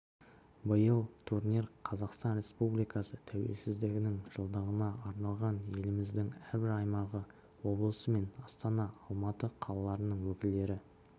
биыл турнир қазақстан республикасы тәуелсіздігінің жылдығына арналған еліміздің әрбір аймағы облысы мен астана алматы қалаларының өкілдері